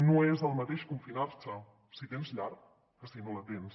no és el mateix confinar se si tens llar que si no la tens